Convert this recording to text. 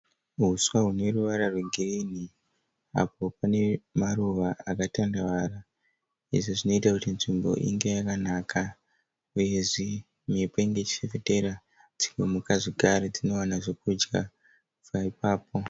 Huswa hune ruvara rwegirinhi apo pane maruva akatandavara. Izvi zvinoita kuti nzvimbo inge yakanaka uyezve mhepo inenge ichifefetera dzimwe mhuka zvekare dzinowana zvekudya kubva ipapo.